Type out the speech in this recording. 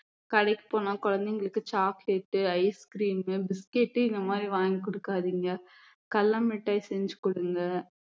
கடைக்கு போனா குழந்தைங்களுக்கு chocolate ice cream biscuit இந்த மாதிரி வாங்கி கொடுக்காதீங்க கடலைமிட்டாய் செஞ்சு கொடுங்க